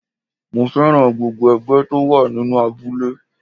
Mo féràn gbogbo ẹgbẹ́ tó wà nínú abúlé.